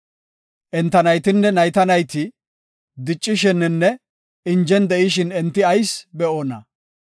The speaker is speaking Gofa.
Enta naytinne nayta nayti, diccishininne injen de7ishin enti ayis be7oona?